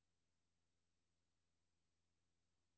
Læg denne e-post i udbakken.